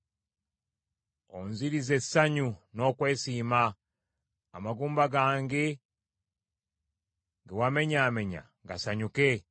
Onzirize essanyu n’okwesiima, amagumba gange ge wamenyaamenya gasanyuke.